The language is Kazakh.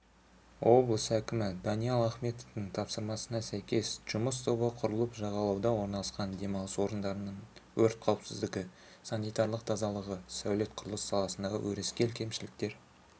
облыс әкімі даниал ахметовтың тапсырмасына сәйкес жұмыс тобы құрылып жағалауда орналасқан демалыс орындарының өрт қауіпсіздігі санитарлық тазалығы сәулет-құрылыс саласындағы өрескел кемшіліктер